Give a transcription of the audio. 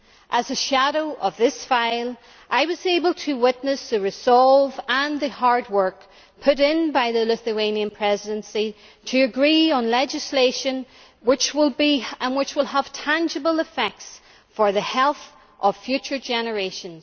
As a shadow for this file, I was able to witness the resolve and the hard work put in by the Lithuanian Presidency to agree on legislation which will have tangible effects for the health of future generations.